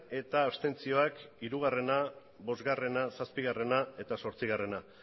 eta abstentzioak hiru bost zazpigarrena eta zortzigarrena